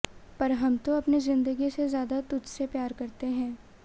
पर हम तो अपनी जिंदगी से ज्यादा तुझ से प्यार करते हैं